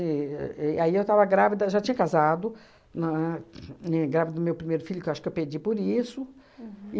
e aí eu estava grávida já tinha casado, na grávida do meu primeiro filho, que eu acho que eu perdi por isso.